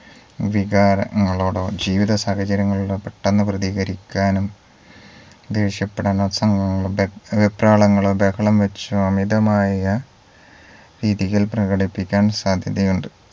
വികാരങ്ങളോടോ ജീവിത സാഹചര്യങ്ങളോടോ പെട്ടെന്ന് പ്രതികരിക്കാനും ദേഷ്യപ്പെടാനോ ഒക്കെ വെപ്രാളങ്ങളോ ബഹളം വച്ചോ അമിതമായ രീതിയിൽ പ്രകടിപ്പിക്കാൻ സാധ്യതയുണ്ട്